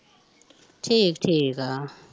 ਠੀਕ ਠੀਕ ਆ